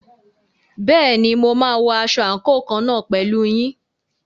Bẹ́ẹ̀ni, mo máa wọ aṣọ àǹkóò kan náà pẹ̀lú yín.